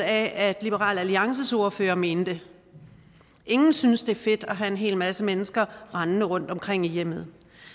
at liberal alliances ordfører mener ingen synes at det er fedt at have en hel masse mennesker rendende rundtomkring i hjemmet